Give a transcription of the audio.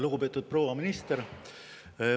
Lugupeetud proua minister!